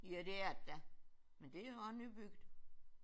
Ja det er det da. Men det er jo også nybygget